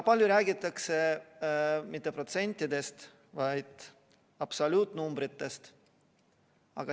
Palju räägitakse mitte protsentidest, vaid absoluutnumbritest.